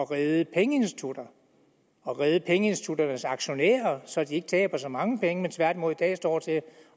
redde pengeinstitutter og redde pengeinstitutternes aktionærer så de ikke taber så mange penge men tværtimod i dag står til at